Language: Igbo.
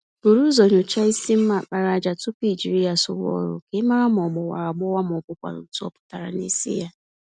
Búrú ụzọ nyocha ísì mma àkpàràjà tupu ijiri ya sụwa ọrụ, k'ịmara ma ogbawara agbawa mọbụkwanụ̀ ntú ọ pụtara nisi yá.